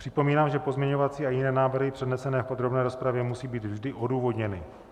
Připomínám, že pozměňovací a jiné návrhy přednesené v podrobné rozpravě musí být vždy odůvodněny.